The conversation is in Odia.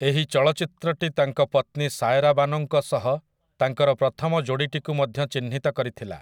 ଏହି ଚଳଚ୍ଚିତ୍ରଟି ତାଙ୍କ ପତ୍ନୀ ସାୟରା ବାନୋଙ୍କ ସହ ତାଙ୍କର ପ୍ରଥମ ଯୋଡ଼ିଟିକୁ ମଧ୍ୟ ଚିହ୍ନିତ କରିଥିଲା ।